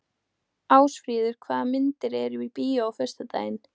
Ásfríður, hvaða myndir eru í bíó á föstudaginn?